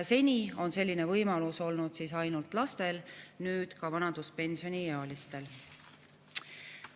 Seni on selline võimalus olnud ainult laste puhul, nüüd on see ka vanaduspensioniealiste puhul.